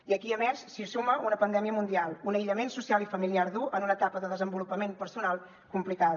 i aquí a més s’hi suma una pandèmia mundial un aïllament social i familiar dur en una etapa de desenvolupament personal complicada